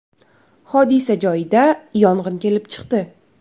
Hodisa joyida yong‘in kelib chiqdi.